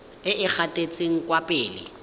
e e gatetseng kwa pele